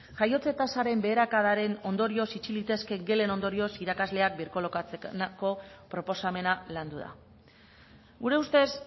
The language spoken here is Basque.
jaiotze tasaren beherakadaren ondorioz itxi litezken gelen ondorioz irakasleak birkolokatzeko proposamena landu da gure ustez